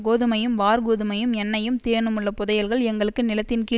கோதுமையும் வாற்கோதுமையும் எண்ணெயும் தேனுமுள்ள புதையல்கள் எங்களுக்கு நிலத்தின்கீழ்